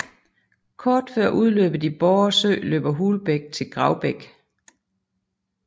Kort før udløbet i Borre Sø løber Hulbæk til Gravbæk